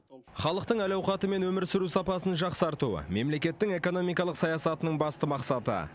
халықтың әл ауқаты мен өмір сүру сапасын жақсарту мемлекеттің экономикалық саясатының басты мақсаты